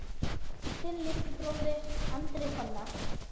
Þinn litli bróðir, Andri Fannar.